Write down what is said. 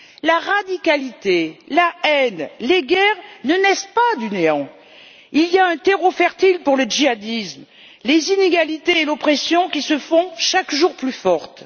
La radicalisation, la haine, les guerres ne naissent pas du néant, il y a un terreau fertile pour le djihadisme les inégalités et l'oppression qui se font chaque jour plus fortes.